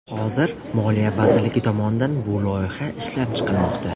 Hozir Moliya vazirligi tomonidan bu loyiha ishlab chiqilmoqda.